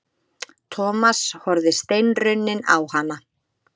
Thomas horfði steinrunninn á hana.